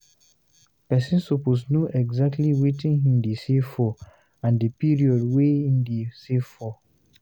Person suppose know exactly wetin him de save for and the period wey him de save for